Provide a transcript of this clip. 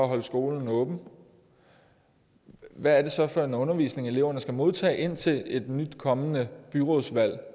holde skolen åben hvad er det så for en undervisning eleverne skal modtage indtil et nyt kommende byrådsvalg